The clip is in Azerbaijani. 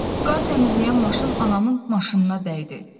Qar təmizləyən maşın anamın maşınına dəydi.